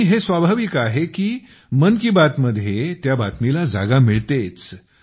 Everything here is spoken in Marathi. आणि हे स्वाभाविक आहे की मन की बातमध्ये त्या बातमीला जागा मिळतेच